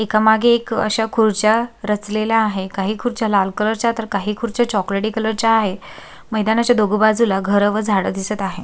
एका मागे एक अश्या खुर्च्या रचलेल्या आहे काही खुर्च्या लाल कलर च्या तर काही खुर्च्या चॉकलेटी कलर च्या आहे मैदानाच्या दोन्ही बाजूला घर केंव्हा झाडं दिसत आहे.